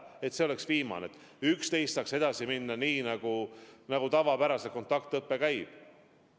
Alates 11. jaanuarist saab edasi minna nii, nagu tavapäraselt kontaktõpe käib.